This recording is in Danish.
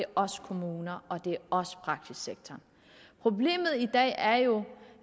også kommuner og også praksissektoren problemet i dag er jo